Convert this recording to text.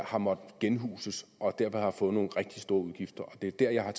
har måttet genhuses og dermed har fået nogle rigtig store udgifter og det er der jeg har